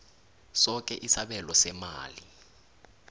soke isabelo seemali